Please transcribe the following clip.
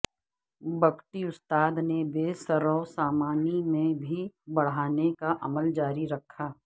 بگٹی استاد نے بے سررو سامانی میں بھی بڑھانے کا عمل جاری رکھا ہے